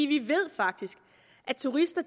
vi ved faktisk at turister